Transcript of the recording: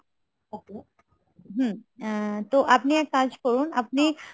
হম তো আপনি এক কাজ করুন, আপনি